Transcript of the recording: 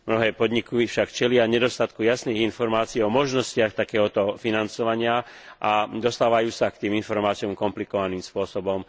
Mnohé podniky však čelia nedostatku jasných informácií o možnostiach takéhoto financovania a dostávajú sa k tým informáciám komplikovaným spôsobom.